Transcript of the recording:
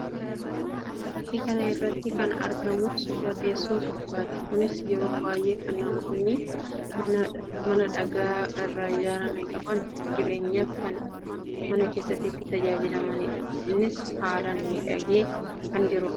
Fakkii kana irratti kan argamu suuraa teessuma soofaati. Kunis yeroo baayyee kan namoonni mana dhagaa irraa ijaarame qaban jireenyaaf kan mana keessatti itti tajaajilamanii dha. Innis haalaan miidhagee kan jiruu dha.